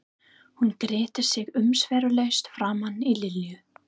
Hún gretti sig umsvifalaust framan í Lillu.